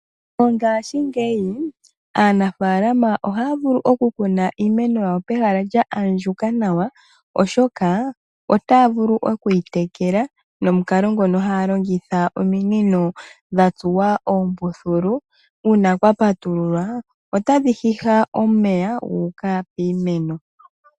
Mongashingeyi aanafalama ohaa vulu oku kuna iimeno yawo pehala lya andjuka nawa, oshoka otaavulu okwitekela nomukalo ngono haalongitha ominino dha tsuwa oombuthulu uuna kwa patululwa otadhi hiha omeya guuka kiimeno.